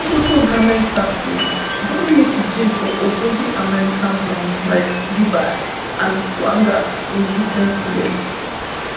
lesotho garment factories don make jeans for ogbonge american brands like levi and wrangler in recent years